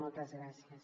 moltes gràcies